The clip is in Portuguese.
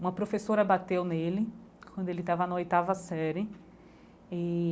Uma professora bateu nele quando ele estava na oitava série e.